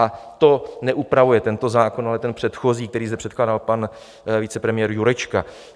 A to neupravuje tento zákon, ale ten předchozí, který zde předkládal pan vicepremiér Jurečka.